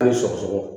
An ye sɔgɔsɔgɔ